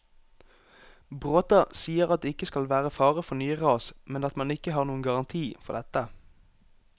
Bråta sier at det ikke skal være fare for nye ras, men at man ikke har noen garanti for dette.